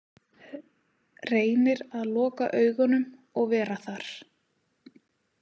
Reynir að loka augunum og vera þar.